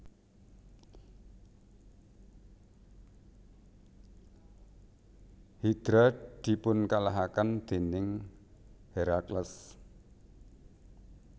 Hidra dipunkalahaken déning Herakles